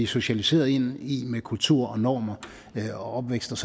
socialiseret ind i med kultur normer og opvækst